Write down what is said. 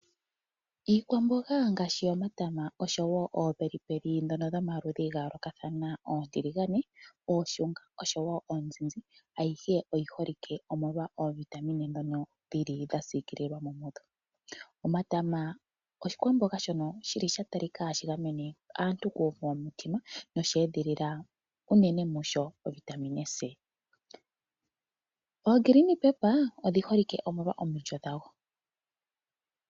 Iikwamboga ngaashi yomatama osho wo oopelipeli dhono dhomaludhi gayoolokathana, oontiligane, ooshunga osho wo oonzinzi ayihe oyiholike omolwa ooVitamine dhono dhilimo dhasiikililwamo. Omatama oshikwamboga shili shatalika hashi gamene aantu kuuvu womutima nosheedhilila unene munsho ovitamine C. Ogreen paper odhiholike molwa omulyo dhago.